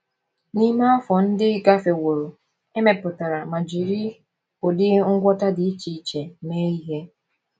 N’ime afọ ndị gafeworo, e mepụtara ma jiri ụdị ngwọta dị iche iche mee ihe.